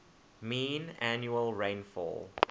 mean annual rainfall